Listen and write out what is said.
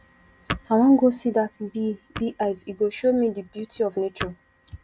i wan go see dat bee bee hive e go show me di beauty of nature